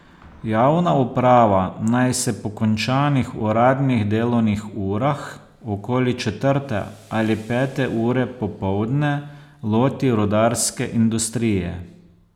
Javna uprava naj se po končanih uradnih delovnih urah, okoli četrte ali pete ure popoldne, loti rudarske industrije.